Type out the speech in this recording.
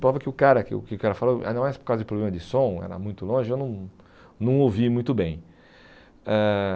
Prova que o cara que o cara falou, não é por causa de problema de som, era muito longe, eu não não ouvi muito bem. Eh